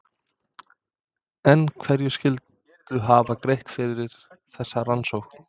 En hverjir skyldu hafa greitt fyrir þessa rannsókn?